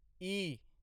इ